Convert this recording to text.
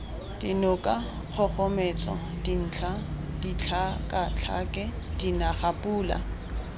dinoka kgogometso dintlha ditlhakatlhake dinagapula